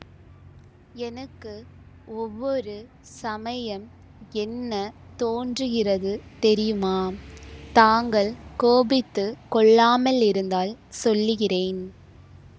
எனக்கு ஒவ்வொரு சமயம் என்ன தோன்றுகிறது தெரியுமா தாங்கள் கோபித்து கொள்ளாமலிருந்தால் சொல்லுகிறேன்